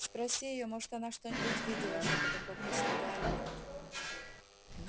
спроси её может она что-нибудь видела шёпотом попросил гарри